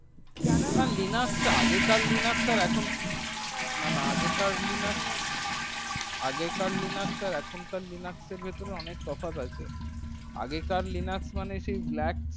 যারা না লিনাক্স তা আগে আর এখন না না আগেকার লিনাক্স আগেকার লিনাক্স আর এখন কার লিনাক্স এর ভেতরে ওমেক পার্থক্য ও তফাৎ আছে আগে কার লিনাক্স মানে সেই লাগ